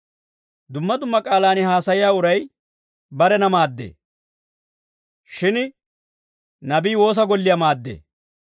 Dumma dumma k'aalaan haasayiyaa uray barena maaddee. Shin nabii woosa golliyaa maaddee.